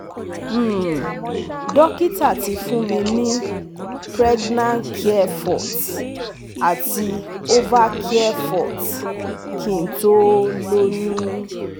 um Dokita ti fún mi ní pregnacare forte àti ovacare forte kí n tó lóyún